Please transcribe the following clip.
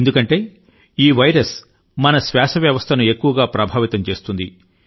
ఎందుకంటే ఈ వైరస్ మన శ్వాస వ్యవస్థను ఎక్కువగా ప్రభావితం చేస్తుంది